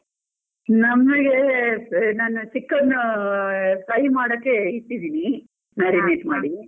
ನಮ್ಗೆ ನಾನು chicken fry ಮಾಡಕೆ ಇಟ್ಟಿದೀನಿ ಮಾಡಿ.